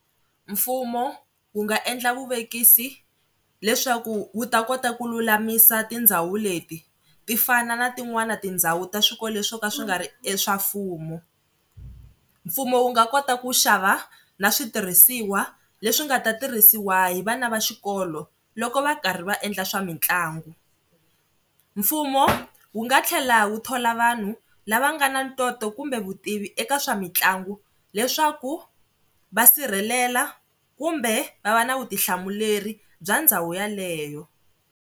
Mfumo wu nga endla vuvekisi leswaku wu ta kota ku lulamisa tindhawu leti ti fana na tin'wana tindhawu ta swikolo leswi swo ka swi nga ri e swa mfumo. Mfumo wu nga kota ku xava na switirhisiwa leswi nga ta tirhisiwa hi vana va xikolo loko va karhi va endla swa mitlangu. Mfumo wu nga tlhela wu thola vanhu lava nga na ntoto kumbe vutivi eka swa mitlangu leswaku va sirhelela kumbe va va na vutihlamuleri bya ndhawu yeleyo.